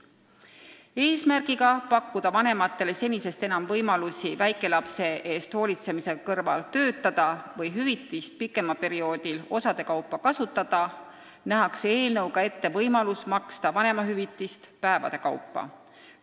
Et pakkuda vanematele enam võimalusi väikelapse eest hoolitsemise kõrval töötada või hüvitist pikemal perioodil osade kaupa kasutada, nähakse eelnõuga ette võimalus maksta vanemahüvitist päevade kaupa.